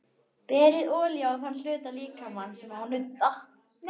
Berið olíu á þann hluta líkamans sem á að nudda.